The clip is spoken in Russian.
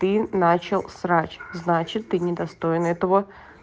ты начал срач значит ты не достоин этого